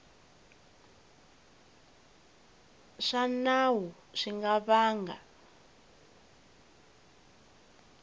swa nawu swi nga vanga